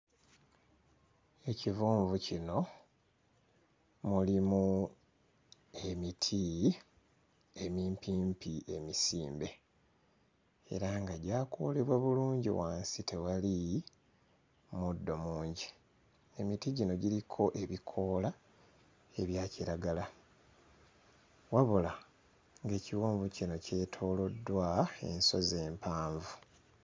Ekiwonvu kino mulimu emiti emimpimpi emisimbe. Era nga gyakoolebwa bulungi wansi tewali muddo mungi. Emiti gino giriko ebikoola ebya kiragala. Wabula ekiwonvu kino kyetooloddwa ensozi empanvu.